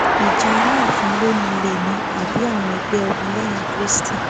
ìjà alaafin ló nílé ni àbí àwọn ẹgbẹ ọmọlẹyìn kristi